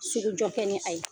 Sugujɔ kɛnɛ, ayi.